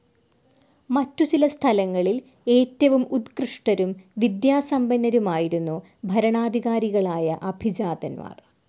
മറ്റു ചില സ്ഥലങ്ങളിൽ ഏറ്റവും ഉത്കൃഷ്ടരും വിദ്യാസമ്പന്നരുമായിരുന്നു ഭരണാധികാരികളായ അഭിജാതൻമാർ.